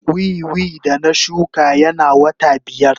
Wiwi da na shuka yana wata biyar.